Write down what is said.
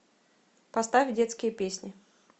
поставь детские песни